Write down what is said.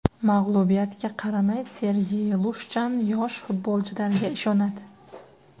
Mag‘lubiyatga qaramay, Sergey Lushchan yosh futbolchilariga ishonadi.